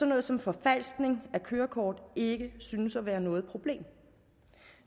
noget som forfalskning af kørekort ikke synes at være noget problem